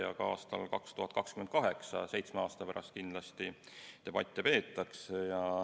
Ja kindlasti peetakse debatte ka aastal 2028, seitsme aasta pärast.